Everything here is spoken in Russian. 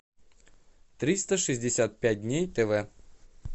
триста шестьдесят пять дней тв